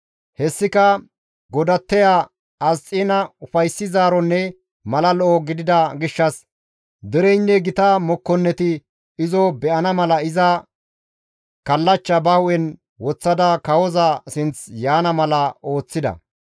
Hessika godatteya Asxiina ufayssizaaronne mala lo7o gidida gishshas dereynne gita mokkonneti izo be7ana mala iza kallachcha ba hu7en woththada kawoza sinth yaana mala ooththida.